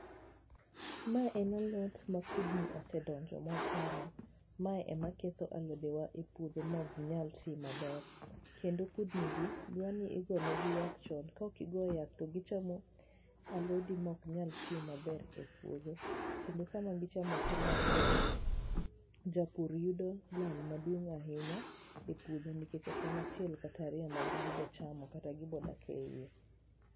Mae en alot ma kudni osedonjo mochamo mae ema ketho alodewa e puodho ma ok nyal ti maber, kendo kudni gi dwa ni igone gi yath chon ka ok igo yath to gichamo alodi ma ok nyal ti maber e puodho kendo sama gichamo kamae to japur yudo lal maduong ahinya e puodho nikech ok en achiel kata riyo ma be gibo chamo kata gibo dak e iye.